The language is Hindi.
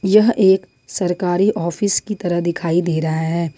यह एक सरकारी ऑफिस की तरह दिखाई दे रहा है।